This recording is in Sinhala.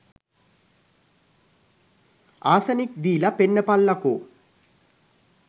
ආසනික් දීල පෙන්නපල්ලකෝ.